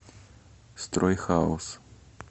стройхаус